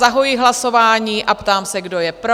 Zahajuji hlasování a ptám se, kdo je pro?